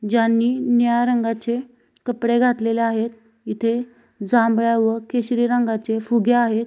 ज्यांनी निळ्या रंगाचे कपडे घातलेले आहेत इथे जांभळा व केशरी रंगाचे फुगे आहेत.